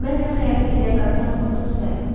Mən də xəyanət eləyən qadını atmaqda ustayam.